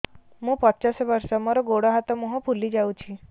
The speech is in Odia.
ମୁ ପଚାଶ ବର୍ଷ ମୋର ଗୋଡ ହାତ ମୁହଁ ଫୁଲି ଯାଉଛି